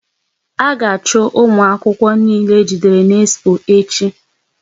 A ga achu ụmụ akwụkwọ niile e jidere n'expo echi!